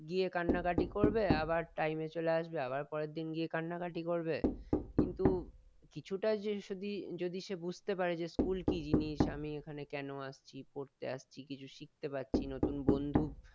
গিয়ে কান্নাকাটি করবে আবার time এ চলে আসবে আবার পরের দিন গিয়ে কান্নাকাটি করবে কিন্তু কিছুটা যে সদি যদি সে বুঝতে পারে যে school কি জিনিস আমি এখানে কেন আসছি পড়তে আসছি কিছু শিখতে পারছি নতুন বন্ধু